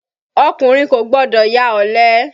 Ọkùnrin kò gbọdọ̀ ya ọ̀lẹ.